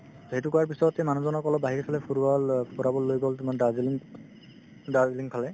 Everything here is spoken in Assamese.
এইটো কৰাৰ পিছত সেই মানুহজনক আকৌ অলপ বাহিৰফালে ফুৰোৱা হ'ল অ ফুৰাবলৈ লৈ গ'ল তোমাৰ দাৰ্জিলিং দাৰ্জিলিং ফালে